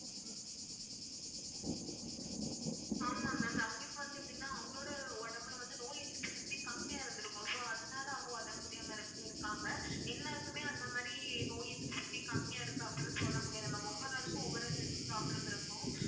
ஆமா ma'am அவங்களுக்கு வந்து எப்படின்னா அவங்களோட உடம்புல வந்து நோய் எதிர்ப்பு சக்தி கம்மியா இருந்திருக்கும். so அதனால அவங்க உடம்பு முடியாம இரு~ இருக்காங்க எல்லாருக்குமே அந்த மாதிரி நோய் எதிர்ப்பு சக்தி கம்மியா இருக்கும் அப்படின்னு சொல்ல முடியாது ma'am. ஒவ்வொரு ஆளுக்கும் ஒவ்வொரு health problem இருக்கும்